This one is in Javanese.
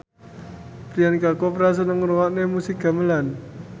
Priyanka Chopra seneng ngrungokne musik gamelan